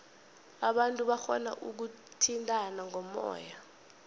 abantu barhona ukuthintana ngomoya